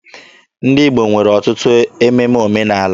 Ndị Igbo nwere ọtụtụ ememe omenaala.